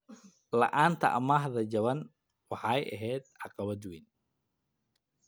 La'aanta amaahda jaban waxay ahayd caqabad weyn.